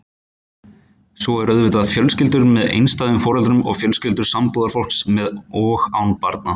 Svo eru auðvitað fjölskyldur með einstæðum foreldrum og fjölskyldur sambúðarfólks með og án barna.